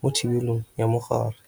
mo thibelong ya mogare.